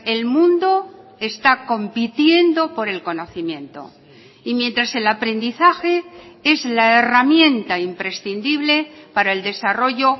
el mundo está compitiendo por el conocimiento y mientras el aprendizaje es la herramienta imprescindible para el desarrollo